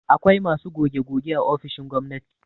Akwai masu goge-goge a ofisoshin gwamnati